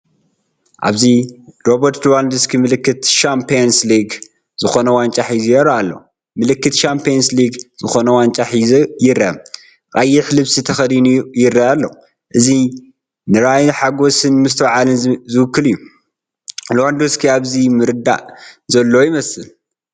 ኣብዚ ሮበርት ሉድዎቭስኪ ምልክት ሻምፕዮንስ ሊግ ዝኾነ ዋንጫ ሒዙ ይረአ ኣሎ፡ ምልክት ሻምፕዮንስ ሊግ ዝኾነ ዋንጫ ሒዙ ይርአ። ቀይሕ ልብሲ ተኸዲኑ ይርአ ኣሎ። እዚ ንራእይ ሓጐስን ምስትውዓልን ዝውክል እዩ። ሉድዎውስኪ ኣብዚ ምርዳእ ዘለዎ ይመስል።